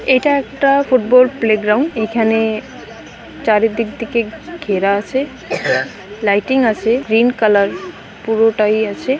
এটা একটা football playground এখানে চারিদিক দিকে ঘেরা আছে লাইটিং আছে গ্রীন কালার পুরোটাই আছে।